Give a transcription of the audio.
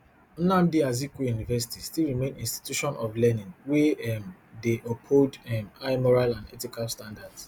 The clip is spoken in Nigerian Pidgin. nnamdi azikiwe university still remain institution of learning wey um dey uphold um high moral and ethical standards